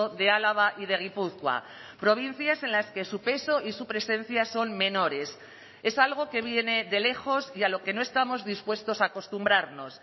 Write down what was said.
de álava y de gipuzkoa provincias en las que su peso y su presencia son menores es algo que viene de lejos y a lo que no estamos dispuestos a acostumbrarnos